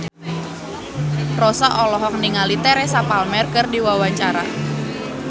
Rossa olohok ningali Teresa Palmer keur diwawancara